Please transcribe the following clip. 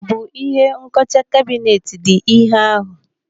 Ọ bụ ihe nkọcha kabinet dị ihe ahụ?